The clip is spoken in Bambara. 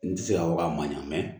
N tɛ se k'a fɔ k'a man ɲa